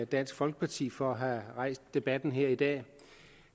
dansk folkeparti for at have rejst debatten her i dag